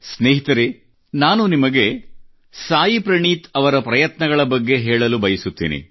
ಸ್ನೇಹಿತರೆ ನಾನು ನಿಮಗೆ ಸಾಯಿ ಪ್ರಣೀತ್ ಅವರ ಪ್ರಯತ್ನಗಳ ಬಗ್ಗೆ ಹೇಳಲು ಬಯಸುತ್ತೇನೆ